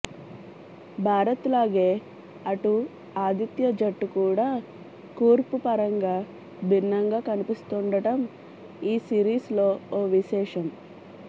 భారత్లాగే అటు ఆతిథ్య జట్టు కూడా కూర్పుపరంగా భిన్నంగా కనిపిస్తుండటం ఈ సిరీస్లో ఓ విశేషం